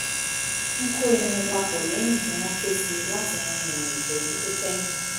ń kó irun papọ̀ lẹ́yìn tí wọ́n ké sí i láti rin ìrìn ìṣẹ́jú tó kẹ́yìn